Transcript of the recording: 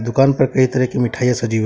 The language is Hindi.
दुकान पर कई तरह की मिठाईयां सजी